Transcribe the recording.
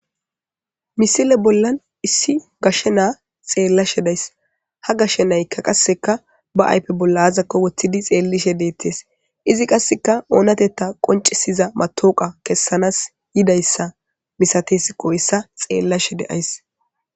misile bollan issi gashshe naa xeellashe days ha gashshe naykka qasseka ba aype bolla azakko woththidi xeellishe deettes izi qasseka oonatetta qoncisiza matooqa kessanaas yidayssa misatesi qooyssa xeellashe de7ays